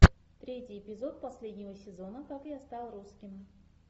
третий эпизод последнего сезона как я стал русским